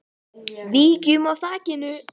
Víkjum að þakinu.